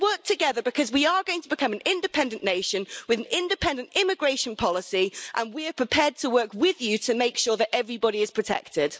Let's work together because we are going to become an independent nation, with an independent immigration policy and we are prepared to work with you to make sure that everybody is protected.